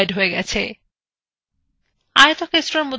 আয়তক্ষেত্রের মধ্যে লেখা যাক রেকট্যানগেল